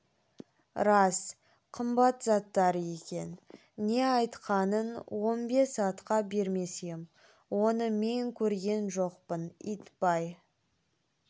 рас қымбат заттар екен не айтқаның он бес атқа бермес ем оны мен көрген жоқпын итбай